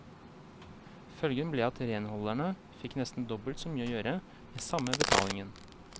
Følgen ble at renholderne fikk nesten dobbelt så mye å gjøre, med samme betalingen.